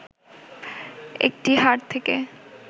একটি হাড় থেকে